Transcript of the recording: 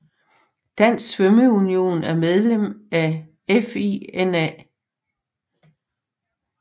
Dansk Svømmeunion er medlem af FINA